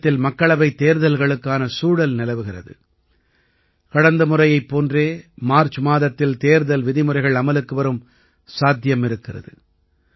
தேசத்தில் மக்களவைத் தேர்தல்களுக்கான சூழல் நிலவுகிறது கடந்த முறையைப் போன்றே மார்ச் மாதத்தில் தேர்தல் விதிமுறைகள் அமலுக்கு வரும் சாத்தியம் இருக்கிறது